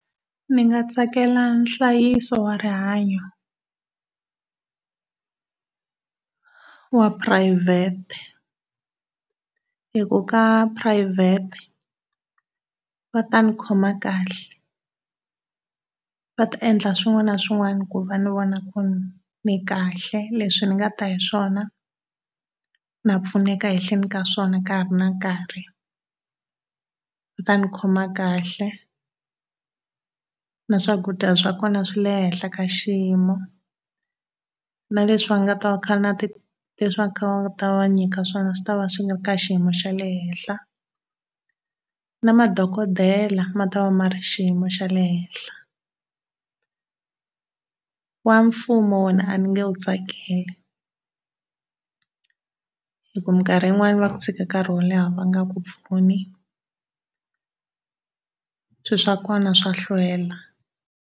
Ni nga tsakela nhlayiso wa rihanyo wa phurayivhete hi ku ka phurayivhete va ta ni khoma kahle. Va ta endla swin'wana na swin'wana ku va ni vona ku ni kahle leswi ni nga ta hi swona na pfuneka ehenhleni ka swona ka ha ri na nkarhi. Va ta ni khoma kahle, na swakudya swa kona swi le henhla ka xiyimo, na leswi va nga ta kaa na leswi va kha va nga ta va va nyika swona swi tava swi ri ka xiyimo xa le henhla. Na madokodela matava mari xiyimo xa le henhla. Wa mfumo wona a ni nge wu tsakeli, hi ku mikarhi yin'wana va ku tshika nkarhi wo leha va nga ku pfuni. Swilo swa kona swa hlwela.